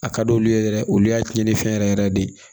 A ka d'olu ye yɛrɛ olu y'a cɛnni fɛn yɛrɛ yɛrɛ de ye